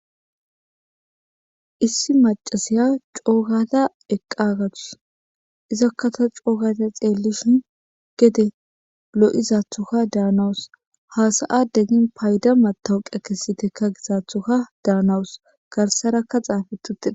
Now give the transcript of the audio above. Issi macasiya coogata eqqagatus izakkata coogata xeellishin gede lo'izathokka daanawus hasa'adegin payda matawuqa kessitekka gizaathoka daanawus garsarakka xaafetutida.